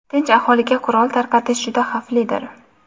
tinch aholiga qurol tarqatish juda xavflidir.